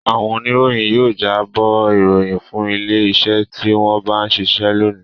Àwọn oníròyìn yóò jábọ̀ ìròyìn fún ilé-iṣẹ́ tí wọ́n ń bá ṣiṣẹ́ lónìí.